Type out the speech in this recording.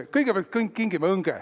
Kõigepealt kingime õnge.